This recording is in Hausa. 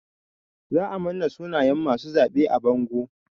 Za a manna sunayen masu zaɓe a bango.